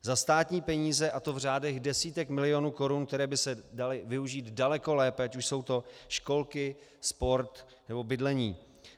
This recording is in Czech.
Za státní peníze, a to v řádech desítek milionů korun, které by se daly využít daleko lépe, ať už jsou to školky, sport, nebo bydlení.